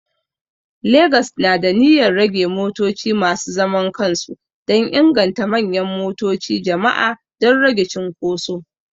Legas na da niyyar rage motoci masu zaman kansu dan inganta manyan motoci jama'a don rage cunkuso